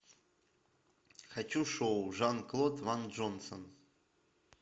хочу шоу жан клод ван джонсон